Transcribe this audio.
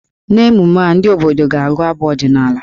N'emume a, ndị obodo ga-agụ abụ ọdịnaala.